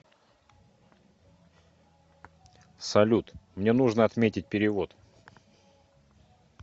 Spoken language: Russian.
салют мне нужно отметить перевод